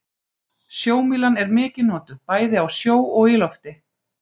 Sjómílan er mikið notuð, bæði á sjó og í lofti.